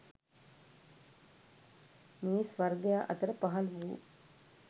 මිනිස් වර්ගයා අතර පහළ වූ